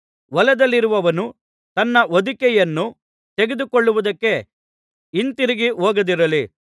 ಹೊಲದಲ್ಲಿರುವವನು ತನ್ನ ಹೊದಿಕೆಯನ್ನು ತೆಗೆದುಕೊಳ್ಳುವುದಕ್ಕೆ ಹಿಂತಿರುಗಿ ಹೋಗದಿರಲಿ